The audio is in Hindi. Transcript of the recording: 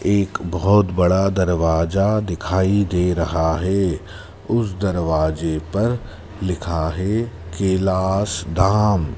एक बहोत बड़ा दरवाजा दिखाई दे रहा है उस दरवाजे पर लिखा है कैलाश धाम--